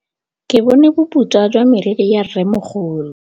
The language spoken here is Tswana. Ke bone boputswa jwa meriri ya rrêmogolo.